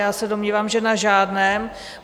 Já se domnívám, že na žádném.